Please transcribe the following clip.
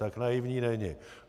Tak naivní není.